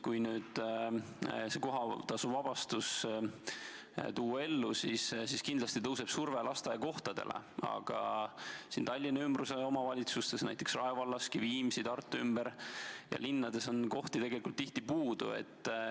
Kui nüüd kohatasust vabastus ellu viia, siis kindlasti tõuseb lasteaiakohtade nõudlus, aga Tallinna ümbruse omavalitsustes, näiteks Rae vallas ja Viimsis, samuti Tartu ümber ja teisteski linnades on kohti tegelikult puudu.